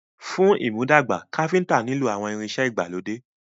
Fún ìmúdàgbà, Káfíntà nilo àwọn ìrìn ìṣe ìgbàlódé.